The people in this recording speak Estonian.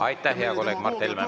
Aitäh, hea kolleeg Mart Helme!